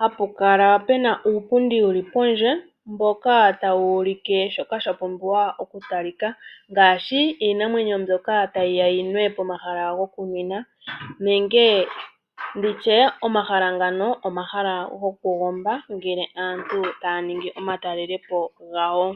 Hapu kala pena uupundi wuli pondje, mboka tawu ulike shoka sha pumbiwa oku talika, ngaashi iinamwenyo mbyoka tayiya yi nwe pomahala goku nwinwa, nenge ndishe omahala ngano, omahala goku gomba ngele aantu taya ningi omatalelepo gawo.